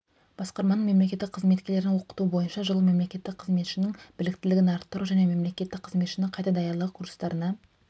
басқарманың мемлекеттік қызметшілерін оқыту бойынша жылы мемлекеттік қызметшінің біліктілігін арттыру және мемлекеттік қызметшінің қайта даярлау курстарына